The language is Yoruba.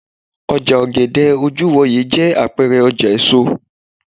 oja ogede ojuwoye je apeere oja eso